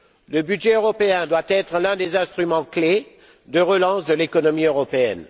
Le budget européen doit être l'un des instruments clés de relance de l'économie européenne.